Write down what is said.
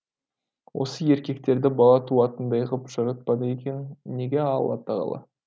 осы еркектерді бала туатындай ғып жаратпады екен неге алла тағала